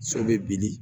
So bɛ bili